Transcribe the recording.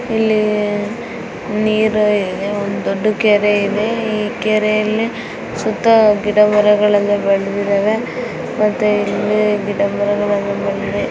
ಇಲ್ಲಿ ನೀರು ಇದೆ ಒಂದು ದೊಡ್ಡಕೆರೆ ಇದೆ ಈ ಕೆರೆಯಲ್ಲಿ ಸುತ್ತಾ ಗಿಡಮರಗಳು ಬೆಳದ್ದಿದ್ದಾವೆ ಮತ್ತೆ ಇಲ್ಲಿ ಗಿಡಮರಗಳಿವೆ.